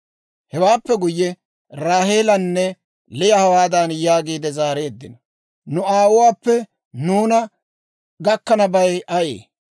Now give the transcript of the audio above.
Hewaappe guyye, Raaheelanne Liya hawaadan yaagiide zaareeddino; «Nu aawuwaappe nuuna gakkanabay ayee?